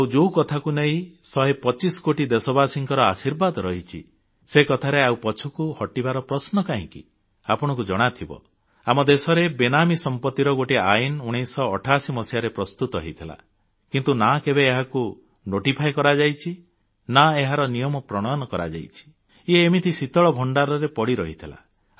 ଆଉ ଯୋଉ କଥାକୁ ନେଇ ଶହେ ପଚିଶ କୋଟି ଦେଶବାସୀଙ୍କର ଆଶୀର୍ବାଦ ରହିଛି ସେ କଥାରେ ଆଉ ପଛକୁ ହଟିବାର ପ୍ରଶ୍ନ କାହିଁକି ଆପଣଙ୍କୁ ଜଣାଥିବ ଆମ ଦେଶରେ ବେନାମୀ ସମ୍ପତ୍ତିର ଗୋଟିଏ ଆଇନ 1988 ମସିହାରେ ପ୍ରସ୍ତୁତ ହୋଇଥିଲା କିନ୍ତୁ ନା କେବେ ଏହାକୁ ନୋଟିଫାଇ କରାଯାଇଛି ନା ଏହାର ନିୟମ ପ୍ରଣୟନ କରାଯାଇଛି ଇଏ ଏମିତି ଶୀତଳ ଭଣ୍ଡାରରେ ପଡ଼ି ରହିଥିଲା